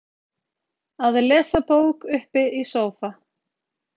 að lesa bók uppi í sófa